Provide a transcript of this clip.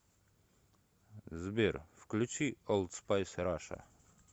сбер включи олд спайс раша